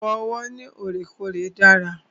Fífọ ọwọ́ lọ́rèkọ́ọ̀rè dára.